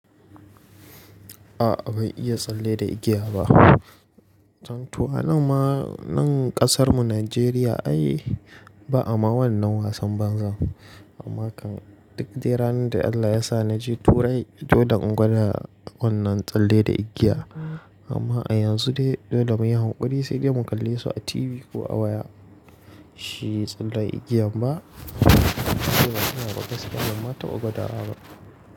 A'a ban iya tsalle da igiya ba. Dan tuwa nan ƙasar mu Najeriya ai ba'a ma wannan wasan banza. Amma kan duk de ranar da Allah ya sa naje turai domin in gwada wannan tsalle da igiya. Amma a yanzu dai dole mu yi hankuri sai dai mu kalle su a TV ko a waya. Shi tsallen igiyan ba sai ba a iya buga siket yamma ta buga tara ba.